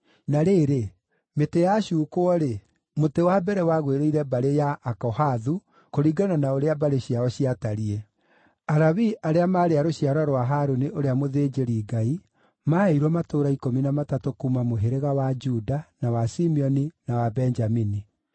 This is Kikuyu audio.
Na rĩrĩ, mĩtĩ yacuukwo-rĩ, mũtĩ wa mbere wagwĩrĩire mbarĩ ya Akohathu, kũringana na ũrĩa mbarĩ ciao ciatariĩ. Alawii arĩa maarĩ a rũciaro rwa Harũni ũrĩa mũthĩnjĩri-Ngai maaheirwo matũũra ikũmi na matatũ kuuma mũhĩrĩga ya Juda, na wa Simeoni, na wa Benjamini.